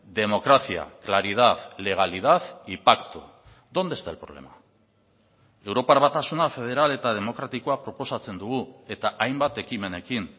democracia claridad legalidad y pacto dónde está el problema europar batasuna federal eta demokratikoa proposatzen dugu eta hainbat ekimenekin